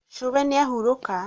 cũwe nĩahũrũka